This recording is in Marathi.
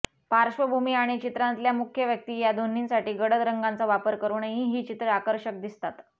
पार्श्वभूमी आणि चित्रांतल्या मुख्य व्यक्ती या दोन्हीसाठी गडद रंगांचा वापर करूनही ही चित्रं आकर्षक दिसतात